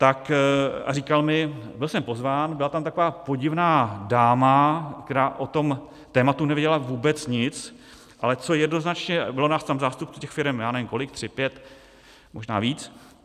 A říkal mi, byl jsem pozván, byla tam taková podivná dáma, která o tom tématu nevěděla vůbec nic, ale co jednoznačně - bylo nás tam zástupců těch firem, já nevím kolik, tři, pět, možná víc.